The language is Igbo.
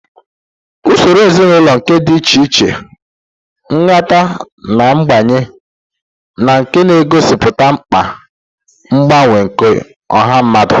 Usoro ezinaụlọ nke dị iche iche, nhata, na mgbanwe, na nke na-egosipụta mkpa mgbanwe nke ọha mmadụ